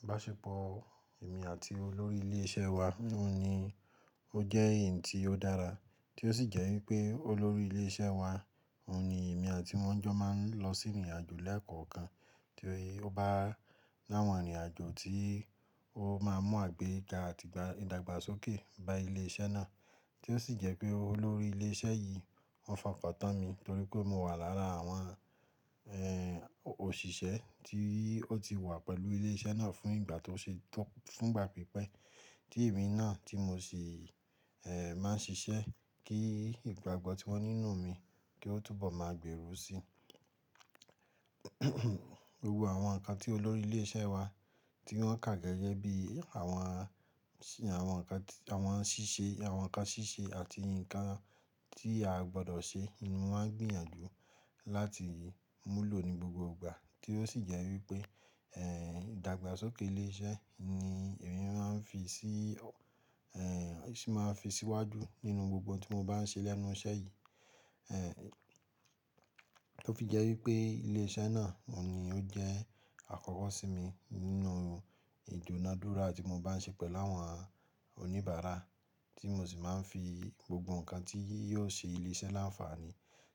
Ìbáṣepọ̀ èmi àti olórí ilé iṣẹ́ wa ni ó jẹ́ ẹ̀yi tí ó dára, tí ó sì jẹ́ wípé olórí ilé iṣẹ́ wa ni èmi àti wọn jọ máa ń lọ sí ìrìnàjò lẹ́ẹ̀kan kan, tí ó bá lọ́wọ́ ìrìnàjò tí ó máa ń mú àgbéga àti ìdàgbàsókè bá ilé iṣẹ́ náà. Tí ó sì jẹ́ pé olórí ilé iṣẹ́ yìí ń fọkàntán mi torí pé mo wà lára àwọn, ẹ́ẹ́, òṣìṣẹ́ tí ó ti wà pẹ̀lú ilé iṣẹ́ náà fún ìgbà tó ṣe tó-- fún ìgbà pípẹ́. Tí èmi náà tí mo sì, ẹ́ẹ́, máa ń ṣiṣẹ́ kí ìgbàgbọ́ tí wọn ní nínú mi kí ó túbọ̀ máa gbèrú sí i. Gbogbo àwọn nǹkan tí olórí ilé iṣẹ́ wa tí wọ́n kà gẹ́gẹ́ bí àwọn, àwọn nǹkan, àwọn ṣíṣe, àwọn nǹkan ṣíṣe àti nǹkan tí a gbọdọ̀ ṣe ni mo máa ń gbìyànjú láti múlò ní gbogbo ìgbà. Tí ó sì jẹ́ wípé, ẹ́ẹ́, ìdàgbàsókè ilé iṣẹ́ ni èmi máa ń fi sí, ẹ́ẹ́, sì máa fi síwájú nínú gbogbo tí mo bá ń ṣe lẹ́nu iṣẹ́ yìí. Ẹ́ẹ́, tó fi jẹ́ wípé ilé iṣẹ́ náà ni ó jẹ́ àkọ́kọ́ sí mi nínú ìdúnadúrà tí mo bá ń ṣe pẹ̀lú àwọn oníbàárà tí mo sì máa ń fi gbogbo nǹkan tí yóò ṣe ilé iṣẹ́ láǹfààní,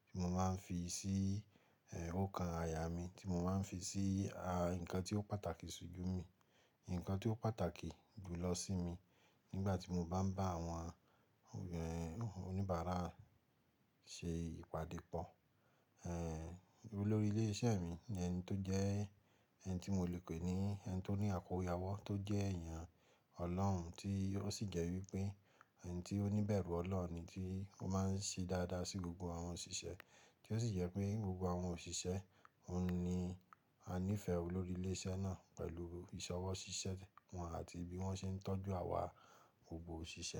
tí mo máa ń fi sí, ẹ́ẹ́, ọ̀kan àyà mí, tí mo máa ń fi sí, a, ǹkan tí ó pàtàkì síjú mi, ǹkan tí ó pàtàkì jù lọ sí mi nígbà tí mo bá ń bá àwọn, ẹ́ẹ́, oníbàárà ṣe ìpàdé pọ̀. Ẹ̀ẹ́, olórí ilé iṣẹ́ mi ni ẹni tó jẹ́ ẹni tí mo lè pè ní ẹni tó ní àkóríayẹwọ́, tó jẹ́ èèyàn ọlọ́hun, tí ó sì jẹ́ wípé ẹni tí ó ní ibẹ̀rù ọlọ́hun ni tí ó máa ń ṣe dáadáa sí gbogbo àwọn òṣìṣẹ́. Tí ó sì jẹ́ pé gbogbo àwọn òṣìṣẹ́ ni a nífẹ̀ẹ́ olórí ilé iṣẹ́ náà pẹ̀lú ìṣọwọ́ ṣíṣẹ́ wọn àti bí wọ́n ṣe ń tọ́jú àwa gbogbo òṣìṣẹ́.